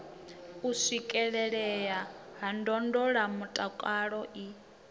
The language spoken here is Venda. u swikelelea ha ndondolamutakalo i